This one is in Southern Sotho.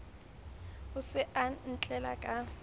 o se o ntlela ka